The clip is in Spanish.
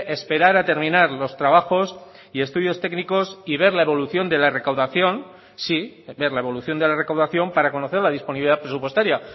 esperar a terminar los trabajos y estudios técnicos y ver la evolución de la recaudación sí ver la evolución de la recaudación para conocer la disponibilidad presupuestaria